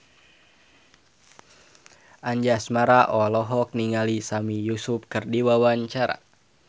Anjasmara olohok ningali Sami Yusuf keur diwawancara